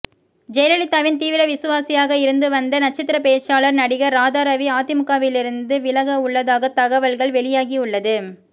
ஜெயலலிதாவின் தீவிர விசுவாசியாக இருந்து வந்த நட்சத்திர பேச்சாளர் நடிகர் ராதாரவி அதிமுகவிலிருந்து விலக உள்ளதாக தகவல்கள் வெளியாகியுள்ளது